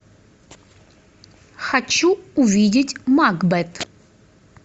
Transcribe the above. хочу увидеть макбет